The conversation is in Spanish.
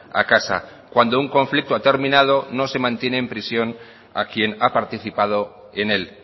a casa cuando un conflicto ha terminado no se mantiene en prisión a quien ha participado en él